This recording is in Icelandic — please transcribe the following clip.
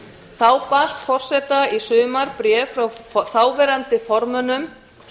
þá barst forseta í sumar bréf frá þáverandi formönnum